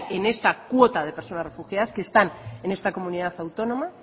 en esta cuota de personas refugiadas que están en esta comunidad autónoma